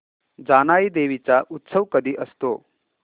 जानाई देवी चा उत्सव कधी असतो